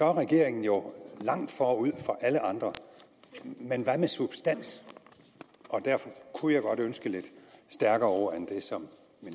er regeringen jo langt forud for alle andre men hvad med substans derfor kunne jeg godt ønske lidt stærkere ord end dem som